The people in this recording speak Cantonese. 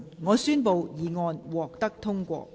我宣布議案獲得通過。